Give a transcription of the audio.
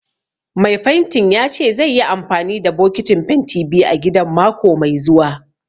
Mai fentin ya ce zaiyi amfani da bokitin fentin biyu a gidan mako mai zuwa.